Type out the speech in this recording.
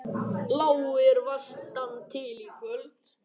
Lægir vestantil Í kvöld